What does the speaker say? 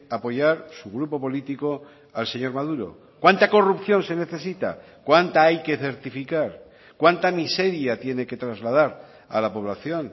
apoyar su grupo político al señor maduro cuánta corrupción se necesita cuánta hay que certificar cuánta miseria tiene que trasladar a la población